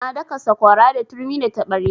Na daka sakwara da turmi da taɓarya.